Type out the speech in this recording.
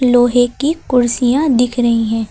लोहे की कुर्सियां दिख रही हैं।